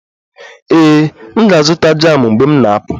Ee, M ga-azụta jamụ mgbe m na-apụ